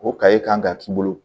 O kaye kan ka k'i bolo